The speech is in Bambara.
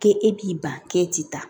K'e b'i ban k'e ti taa